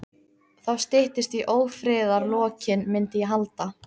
Þá styttist í ófriðarlokin, myndi ég halda.